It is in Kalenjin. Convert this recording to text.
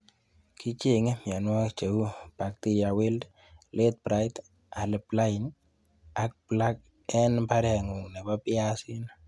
Kicheng'e mionwokik cheu bacteria wilt, late bright, early blight ak black en mbarengung nebo biaisinik.